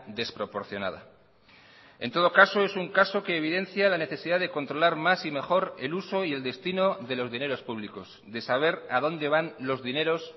desproporcionada en todo caso es un caso que evidencia la necesidad de controlar más y mejor el uso y el destino de los dineros públicos de saber a dónde van los dineros